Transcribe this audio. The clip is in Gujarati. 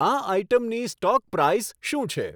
આ આઇટમની સ્ટોક પ્રાઈઝ શું છે